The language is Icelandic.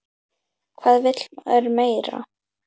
Hvað vill maður meira?